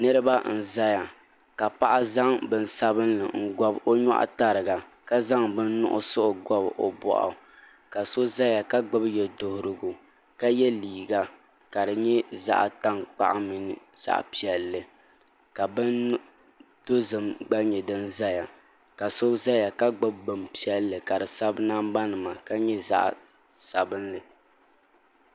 Niraba n ʒɛya ka paɣa zaŋ bini sabinli n gobi o nyoɣu tariga ka zaŋ bini nuɣso gobi o boɣu ka so ʒɛya ka gbubi yɛduɣurigu ka yɛ liiga ka di nyɛ zaɣ tankpaɣu mini zaɣ piɛlli ka bin dozim gba nyɛ din ʒɛya ka so ʒɛya ka gbuni bin piɛlli ka di sabi namba nima ka nyɛ zaɣ sabinli